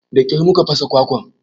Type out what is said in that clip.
Da ƙyar mu ka fasa kwakwar